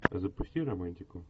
запусти романтику